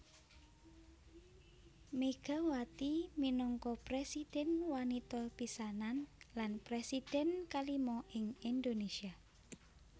Megawati minangka presidhèn wanita pisanan lan presidhèn kalima ing Indonésia